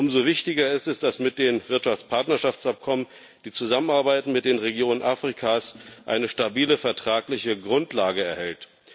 Umso wichtiger ist es, dass mit den Wirtschaftspartnerschaftsabkommen die Zusammenarbeit mit den Regionen Afrikas eine stabile vertragliche Grundlage erhält.